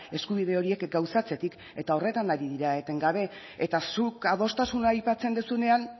eskubide horiek gauzatzetik eta horretan ari dira etengabe eta zuk adostasuna aipatzen duzunean